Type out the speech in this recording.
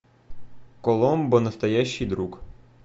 коломбо настоящий друг